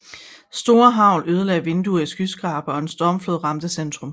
Store hagl ødelagde vinduer i skyskrabere og en stormflod ramte centrum